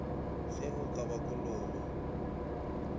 ge o ka ba kolobe